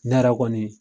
Ne yɛrɛ kɔni